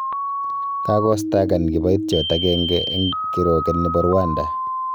Kokistakan kiboityot agenge eng kirwoget nebo Rwanda